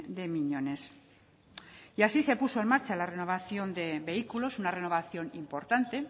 de miñones y así se puso en marcha la renovación de vehículos una renovación importante